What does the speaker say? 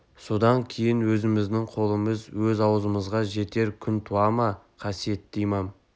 сонда кейін өзіміздің қолымыз өз аузымызға жетер күн туа ма қасиетті имам